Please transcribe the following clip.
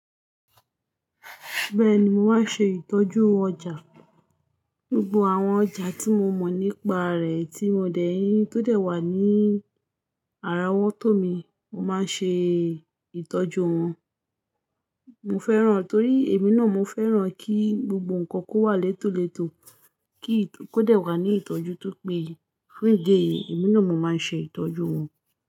Bẹ́ẹ̀ni, mo máa ń ṣe ìtọ́jú ọjà. Gbogbo àwọn ọjà tí mo mọ̀ nípa rẹ̀ tí mo dẹ̀ yín tó dẹ̀ wá ní àràwọ́to mi, mo máa ń ṣe ìtọ́jú wọn. Mo fẹ́ràn, torí èmi náà mo fẹ́ràn kí gbogbo nǹkan kó wà letòletò, kí kó dẹ̀ wà ní ìtọ́jú tó péye. Fún ìdí èyí, èmi náà mo máa ń ṣe ìtọ́jú wọn.